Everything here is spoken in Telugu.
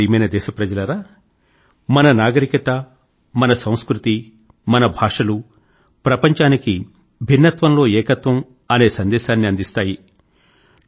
నా ప్రియమైన దేశప్రజలారా మన నాగరికత మన సంస్కృతి మన భాషలు ప్రపంచానికి భిన్నత్వం లో ఏకత్వం అనే సందేశాన్ని అందిస్తాయి